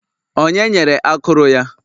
Onye nyere akụrụ ya?